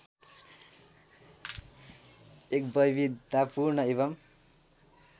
एक वैविधतापूर्ण एवम्